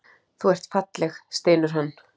Þú ert falleg, stynur hann.